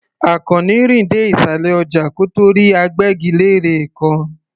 Àkànní rìn dé ìsàlẹ̀ ọjà kó tó rí agbẹ́gilére kan.